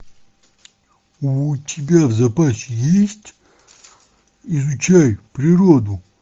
у тебя в запасе есть изучай природу